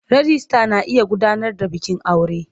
Rijista na iya gudanar da bikin aure.